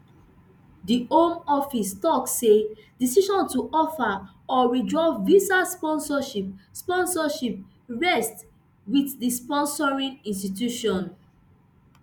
di home office tok say decision to offer or withdraw visa sponsorship sponsorship rest wit di sponsoring institution